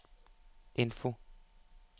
info